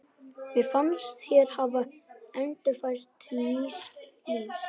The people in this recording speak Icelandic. Mér fannst ég hafa endurfæðst til nýs lífs.